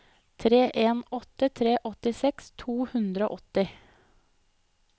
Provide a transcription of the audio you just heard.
tre en åtte tre åttiseks to hundre og åtti